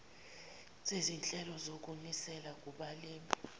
sezinhlelo zokunisela kubalimi